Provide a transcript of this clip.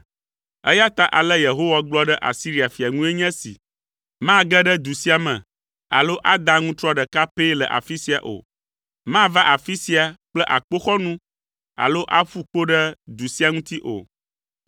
“Eya ta ale Yehowa gblɔ ɖe Asiria fia ŋue nye esi, “Mage ɖe du sia me alo ada aŋutrɔ ɖeka pɛ le afi sia o. Mava afi sia kple akpoxɔnu alo aƒu kpo ɖe du sia ŋuti o.